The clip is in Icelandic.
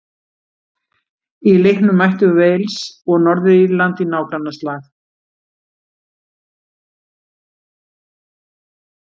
Í leiknum mættust Wales og Norður-Írland í nágrannaslag.